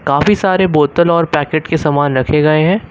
काफी सारे बोतल और पैकेट के सामान रखे गए हैं।